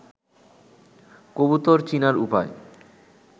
কবুতর চিনার উপায়